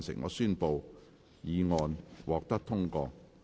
我宣布議案獲得通過。